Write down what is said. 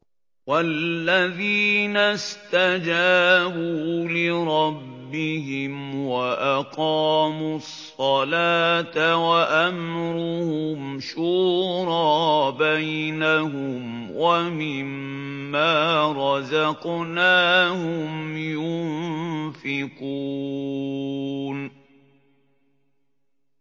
وَالَّذِينَ اسْتَجَابُوا لِرَبِّهِمْ وَأَقَامُوا الصَّلَاةَ وَأَمْرُهُمْ شُورَىٰ بَيْنَهُمْ وَمِمَّا رَزَقْنَاهُمْ يُنفِقُونَ